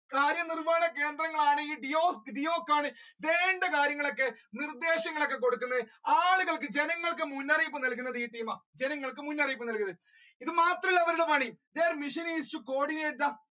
കാര്യ നിർവഹണ കേന്ദ്രങ്ങളാണ് deeyo~deeyoc വേണ്ട കാര്യങ്ങൾ ഒക്കെ നിർദ്ദേശങ്ങൾ ഒക്കെ കൊടുക്കുന്നത് ആളുകൾക്ക് ജനങ്ങൾക്ക് മുന്നറിയിപ്പ് നൽകുന്നത് ഈ ആ ജനങ്ങൾക്ക് മുന്നറിയിപ്പ് നൽകുന്നത് ഇത് മാത്രമല്ല അവരുടെ പണി their mission is to co-ordinate the